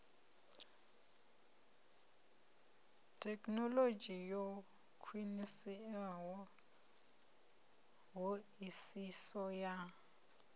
thekhinolodzhi yo khwiniseaho hoisiso ya